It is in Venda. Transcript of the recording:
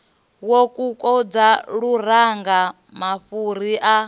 wa kokodza luranga mafhuri a